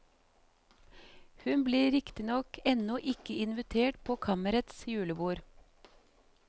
Hun blir riktignok ennå ikke invitert på kammerets julebord.